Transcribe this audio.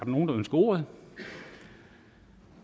nogen der ønsker ordet